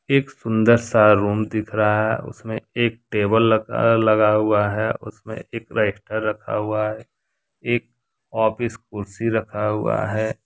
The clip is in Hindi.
एक सुंदर सा रूम दिख रहा है उसमें एक टेबल लगा लगा हुआ है उसमें एक रजिस्टर रखा हुआ है एक ऑफिस कुर्सी रखा हुआ है।